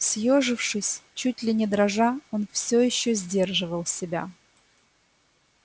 съёжившись чуть ли не дрожа он все ещё сдерживал себя